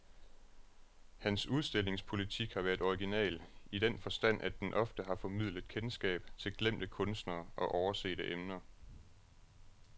Hans udstillingspolitik har været original, i den forstand at den ofte har formidlet kendskab til glemte kunstnere og oversete emner.